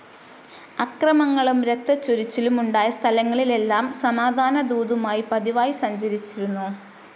അക്രമങ്ങളും രക്തചൊരിച്ചിലും ഉണ്ടായ സ്ഥലങ്ങളിലെല്ലാം സമാധാനദൂതുമായി പതിവായി സഞ്ചരിച്ചിരുന്നു.